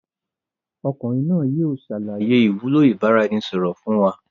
Ọmọkùnrin náà yìí o ṣàlàyé ìwúlò ìbáraẹnisọọ̀rọ̀ fun wa.